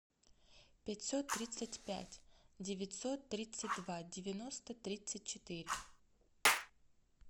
пятьсот тридцать пять девятьсот тридцать два девяносто тридцать четыре